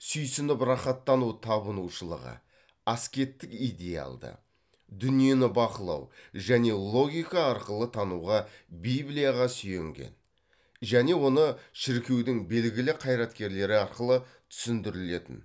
сүйсініп рақаттану табынушылығы аскеттік идеалды дүниені бақылау және логика арқылы тануға библияға сүйенген және оны шіркеудің белгілі қайраткерлері арқылы түсіндірілетін